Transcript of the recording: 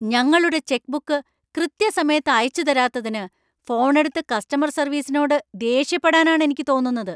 ഞങ്ങളുടെ ചെക്ക്ബുക്ക് കൃത്യസമയത്ത് അയച്ചുതരാത്തതിന് ഫോൺ എടുത്ത് കസ്റ്റമർ സർവീസിനോട് ദേഷ്യപ്പെടാനാണ് എനിക്ക് തോന്നുന്നത്.